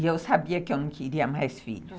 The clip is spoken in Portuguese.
E eu sabia que eu não queria mais filhos.